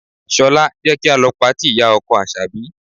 Ṣọlá, jẹ́ ka lọ patí ìyá-ọkọ Àṣàbí.